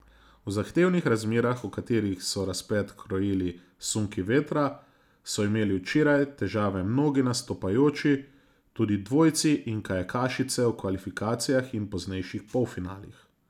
V zahtevnih razmerah, v katerih so razplet krojili sunki vetra, so imeli včeraj težave mnogi nastopajoči, tudi dvojci in kajakašice v kvalifikacijah in poznejših polfinalih.